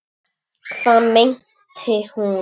Hvað meinti hún?